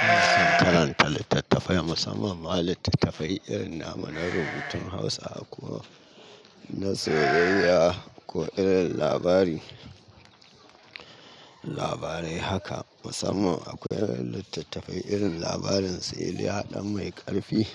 Ina son karanta littattafai musamman ma littattafai irin na namu na rubutun Hausa a ko. Na soyayya ko irin labari, labarai haka musamman akwai wani littattafai irin labarin su iliya ɗan mai ƙarfi.